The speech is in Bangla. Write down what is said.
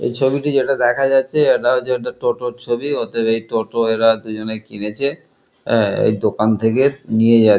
এ ছবিটি যেটা দেখা যাচ্ছে ইটা হচ্ছে একটা টোটোর ছবি ওদের এই টোটো এরা দুজনে কিনেছে এ-এই দোকান থেকে নিয়ে যাচ--